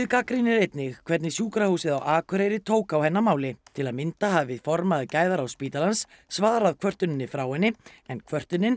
gagnrýnir einnig hvernig sjúkrahúsið á Akureyri tók á hennar máli til að mynda hafi formaður gæðaráðs spítalans svarað kvörtuninni frá henni en kvörtunin